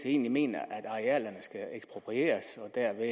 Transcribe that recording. egentlig mener at arealerne skal eksproprieres og dermed